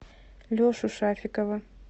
лешу шафикова